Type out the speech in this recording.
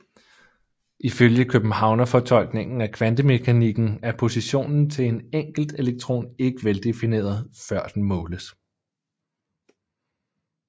Ifølge Københavnerfortolkningen af kvantemekanikken er positionen til en enkelt elektron ikke veldefineret før den måles